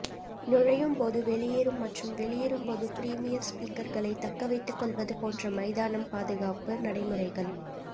நுழையும் போது வெளியேறும் மற்றும் வெளியேறும் போது பிரீமியர் ஸ்பீக்கர்களைத் தக்கவைத்துக்கொள்வது போன்ற மைதானம் பாதுகாப்பு நடைமுறைகள்